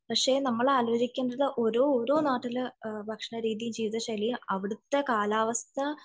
പക്ഷെ നമ്മൾ ആലോചിക്കേണ്ടത് ഓരോരോ നാട്ടിലെ ഭക്ഷണരീതിയും ജീവിത ശൈലിയും അവിടുത്തെ കാലാവസ്ഥ